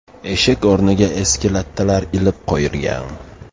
Eshik o‘rniga eski lattalar ilib qo‘yilgan.